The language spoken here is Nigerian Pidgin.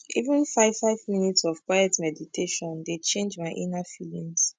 even five five minutes of quiet meditation dey change my inna feelings